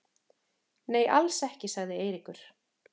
Nei, alls ekki sagði Eiríkur.